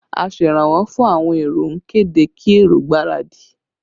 Aseranwọ́ fún àwọn èrò ń kéde kí èrò gbáradì